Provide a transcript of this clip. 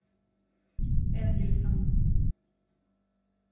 энгельсом